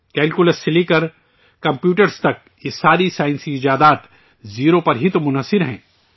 calculus سے لے کر کمپیوٹر تک یہ تمام سائنسی ایجادات زیرو پر ہی تو مبنی ہیں